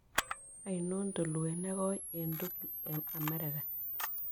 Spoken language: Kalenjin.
Ainon tulwet negoi eng' tugul eng' amerika